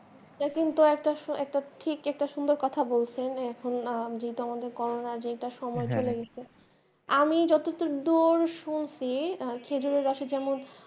এটা কিন্তু একটা, একটা ঠিক একটা সুন্দর কথা বলসেন । এখন যেটা আমাদের করনা যেটা সময় চলে যাসে, আমি যত দূর দূর